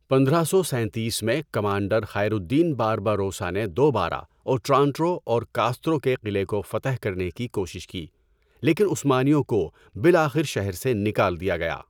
پندرہ سو سینتیس میں، کمانڈر خیر الدین بارباروسا نے دوبارہ اوٹرانٹو اور کاسترو کے قلعے کو فتح کرنے کی کوشش کی، لیکن عثمانیوں کو بالآخر شہر سے نکال دیا گیا۔